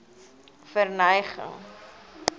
verneging